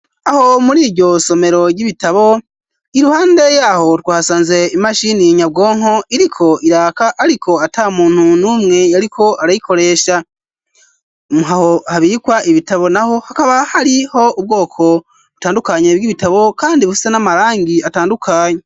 Aho muri iryo somero ry'ibitabo ,'iruhande yaho twasanze imashini nyabwonko iriko iraka, ariko ata muntu numwe yariko arayikoresha ,habikwa ibitabo naho hakaba hariho ubwoko butandukanye bw'ibitabo ,kandi bufise n'amarangi atandukanye.